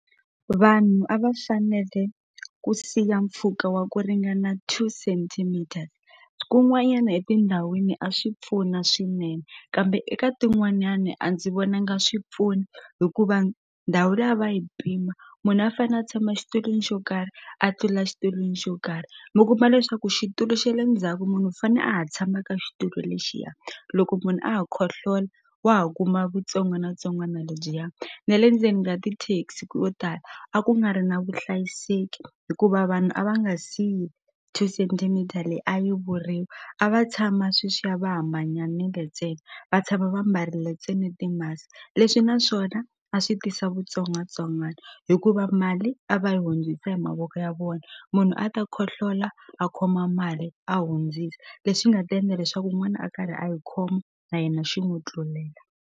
Vanhu a va fanele ku siya mpfhuka wa ku ringana two centimeters kun'wanyana etindhawini a swi pfuna swinene kambe eka tin'wanyani a ndzi vonanga swi pfuna hikuva ndhawu leyi a va yi pima munhu a fane a tshama exitulwini xo karhi a tlula xitulwini xo karhi mi kuma leswaku xitulu xa le ndzhaku munhu u fane a ha tshama ka xitulu lexiya loko munhu a ha khohlola wa ha kuma vutsongwanatsongwana ledyiya ne le ndzeni ka ti-taxi ko tala a ku nga ri na vuhlayiseki hikuva vanhu a va nga siyi two centimeter leyi a yi vuriwa a va tshama sweswiya va ha manyanile ntsena va tshama va mbarile ntsena ti-musk leswi naswona a swi tisa vutsongwatsongwana hikuva mali a va yi hundzisa hi mavoko ya vona munhu a ta khohlola a khoma mali a hundzisa lexi nga ta endla leswaku wun'wana a karhi a yi khoma na yena xi n'wu tlulela.